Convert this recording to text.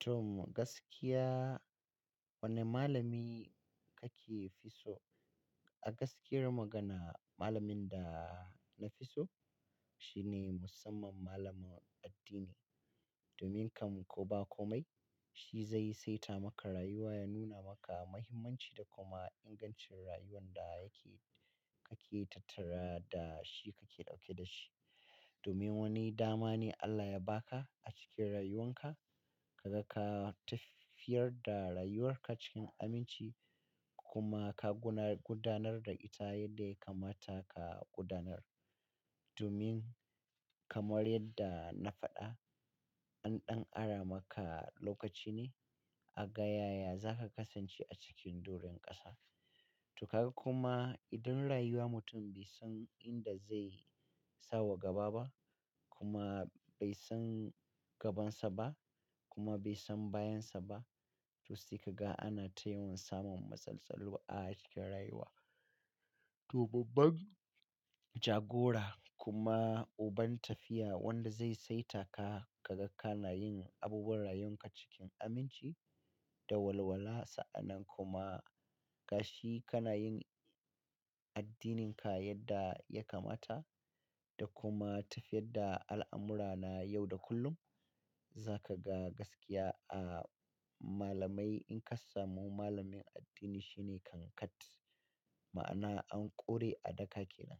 To gaskiya wane malami kake fi so? A gaskiyar magana malamin da na fi so shine musamman malamin addini. Domin kam ko ba komai shi zai saita maka rayuwa ya nuna maka mahimmanci da kuma ingancin rayuwan da yake kake tattara da shi kake dauke da shi. Domin wani dama ne Allah ya ba ka a cikin rayuwan ka ka ga ka tafiyar da rayuwar ka cikin aminci kuma ka gudanar da ita yadda ya kamata ka gudanar. Domin kamar yadda na faɗa an ɗan ara maka lokaci ne a ga ya ya za ka kasance a cikin doran ƙasa. To ka ga kuma idan rayuwa mutum bai san inda zai sawa gaba ba kuma bai san gabansa ba kuma bai san bayan sa ba. To sai ka ga ana tayiwan samun matsaltsalu a cikin rayuwa. To babban jagora kuma uban tafiya wanda zai saita ka, ka ga kana yin abubuwan rayuwanka cikin aminci da walwala sa'annan kuma gashi kana yin addininka yadda ya kamata da kuma tafiyar da al'amurana yau da kullum. Za ka ga gaskiya a malamai in ka samu malamin addini shine kankat ma'ana an ƙore adaka ke nan.